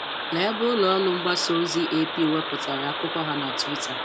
Lee ebe ụlọ ọrụ mgbasa ozi AP wepụtara akụkọ ha na Twitter.